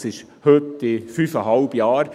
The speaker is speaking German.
Das ist heute in fünfeinhalb Jahren.